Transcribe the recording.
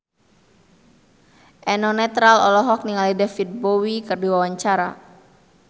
Eno Netral olohok ningali David Bowie keur diwawancara